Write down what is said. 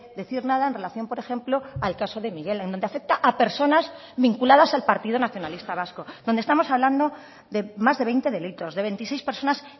decir nada en relación por ejemplo al caso de miguel en donde afecta a personas vinculadas al partido nacionalista vasco donde estamos hablando de más de veinte delitos de veintiséis personas